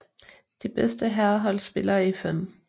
Det bedste herrehold spiller i 5